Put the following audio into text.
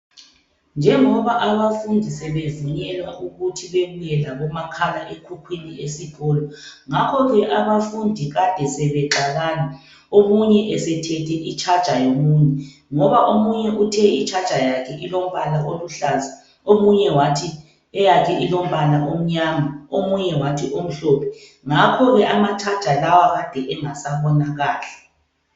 Njengoba abafundi sebevunyelwa ukuthi bebuye labomakhalekhukhwini esikolo. Ngakho ke abafundi besebexabana. Omunye esethethe itshaja yomunye. Ngoba omunye uthe itshaja yakhe ilombala oluhlaza, omunye wathi eyakhe ilombala omnyama, omunye wathi omhlophe. Ngakho ke amatshaja lawa abengasabonakali